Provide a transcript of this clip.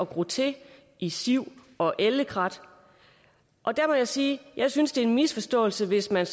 gro til i siv og ellekrat der må jeg sige at jeg synes det er en misforståelse hvis man